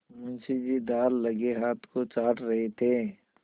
मुंशी जी दाललगे हाथ को चाट रहे थे